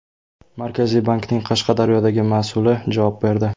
Markaziy bankning Qashqadaryodagi mas’uli javob berdi.